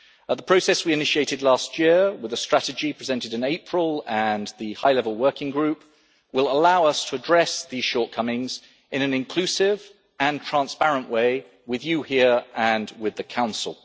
The process we initiated last year, with the strategy presented in April and the High Level Working Group, will allow us to address these shortcomings in an inclusive and transparent way with you here and with the Council.